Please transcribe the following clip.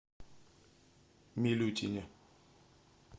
милютине